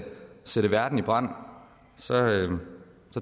sætte verden i brand